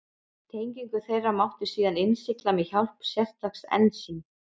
Tengingu þeirra mátti síðan innsigla með hjálp sérstaks ensíms.